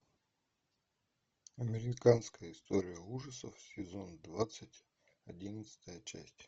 американская история ужасов сезон двадцать одиннадцатая часть